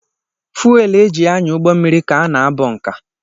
Fuwel eji anya ụgbọmmiri ka ana bụnka